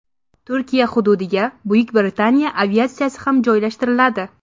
Turkiya hududiga Buyuk Britaniya aviatsiyasi ham joylashtiriladi.